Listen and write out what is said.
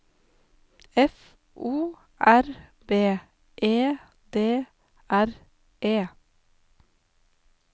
F O R B E D R E